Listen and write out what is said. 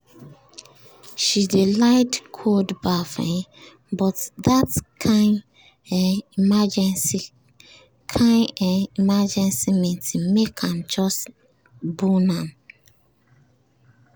she dey like cold baff um but that kain um emergency kain um emergency meeting make am just bone am.